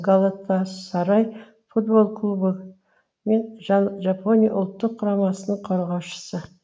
галатасарай футбол клубы мен жапония ұлттық құрамасының қорғаушысы